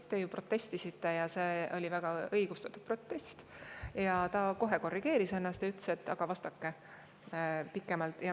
Te ju protestisite – ja see oli väga õigustatud protest – ning ta kohe korrigeeris ennast ja ütles, et vastake pikemalt.